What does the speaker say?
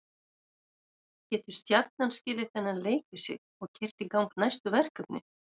Getur Stjarnan skilið þennan leik við sig og keyrt í gang næstu verkefni?